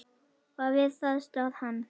Og við það stóð hann.